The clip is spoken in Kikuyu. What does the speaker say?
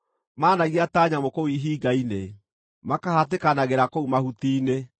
Maanagia ta nyamũ kũu ihinga-inĩ, makahatĩkanagĩra kũu mahuti-inĩ.